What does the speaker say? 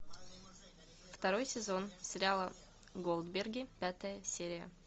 второй сезон сериала голдберги пятая серия